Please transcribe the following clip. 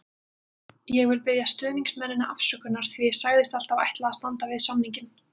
Ég vil biðja stuðningsmennina afsökunar því ég sagðist alltaf ætla að standa við samninginn.